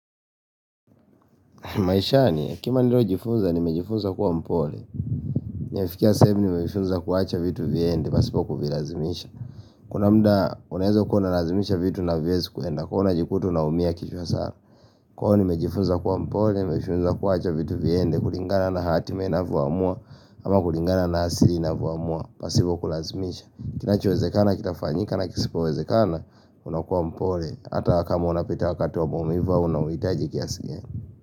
Maisha ni, kima nilo jifuza, nimejifuza kuwa mpole. Nafikia sehemu nimejifuza kuwaacha vitu viyende, pasipo kuvilazimisha. Kuna mida, unezo kuna lazimisha vitu na vyezi kuenda, kuhu na jikuta na umia kishwa sana Kwaivyo nimejifuza kuwa mpole, nimejifuza kuwa hacha vitu viyende, kuringana na hatime na vuamua, ama kuringana na asili na vuamua, pasipo kulazimisha. Kinachowezekana, kitafanyika na kisipo wezekana, unakuwa mpole. Ata wakama unapita wakati wa momiva, unawitaji kiasikia.